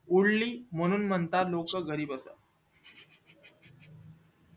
उडली म्हणून लोक म्हणतात घरी बसा